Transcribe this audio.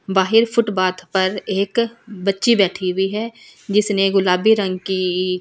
बाहर फूटबाथ एक बच्ची बैठी हुई है जिसने गुलाबी रंग की इस।